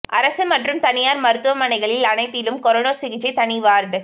அரசு மற்றும் தனியார் மருத்துவமனைகளில் அனைத்திலும் கொரோனா சிகிச்சைக்கு தனி வார்டு